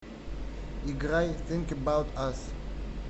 играй синк эбаут ас